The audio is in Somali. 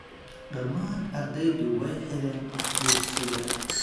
Dhammaan ardaydu way xidheen dugsiga